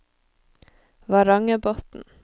Varangerbotn